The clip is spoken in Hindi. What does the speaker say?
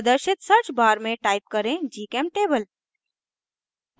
प्रदर्शित search bar में type करें gchemtable